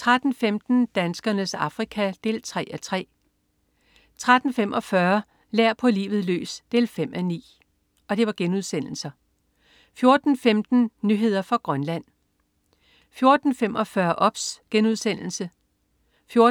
13.15 Danskernes Afrika 3:3* 13.45 Lær på livet løs 5:9* 14.15 Nyheder fra Grønland 14.45 OBS* 14.50